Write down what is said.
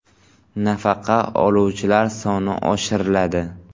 Nafaqa oluvchilar soni oshiriladi.